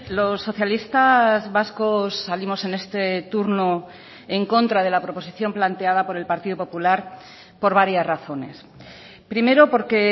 los socialistas vascos salimos en este turno en contra de la proposición planteada por el partido popular por varias razones primero porque